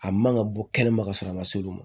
A man ka bɔ kɛnɛma ka sɔrɔ a ma s'olu ma